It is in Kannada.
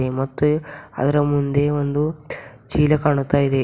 ಮತ್ತೆ ಅದರ ಮುಂದೆ ಒಂದು ಚೀಲ ಕಾಣುತ್ತಾ ಇದೆ.